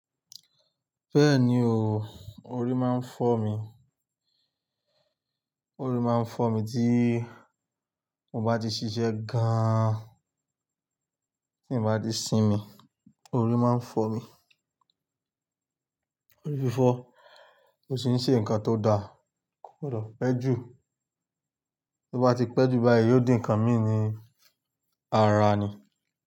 Bẹ́ẹ̀ni o, orí máa ń fọ́ mi. Orí máa ń fọ́ mi tí mo bá di ṣiṣẹ́ gaaan, tí n bá di sinmi, orí máa ń fọ́ mi. Orí fi fọ́, mo sì ń ṣe nǹkan tó da. Kò gbọdọ̀ pẹ́ jù, tí o bá ti pẹ́ jù báyìí yóò di ǹkan míì ni, ara ni.